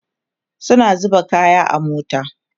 suna zuba kaya a mota